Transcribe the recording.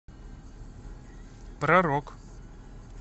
про рок